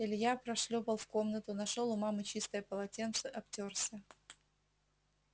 илья прошлёпал в комнату нашёл у мамы чистое полотенце обтёрся